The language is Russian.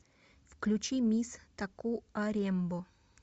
включи мисс такуарембо